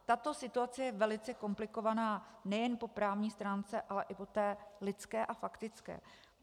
Tato situace je velice komplikovaná nejen po právní stránce, ale i po té lidské a faktické.